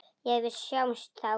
Jæja, við sjáumst þá.